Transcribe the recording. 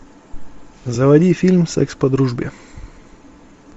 заводи фильм секс по дружбе